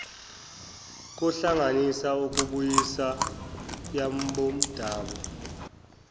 kohlanganisa ukubuyisa yabomdabu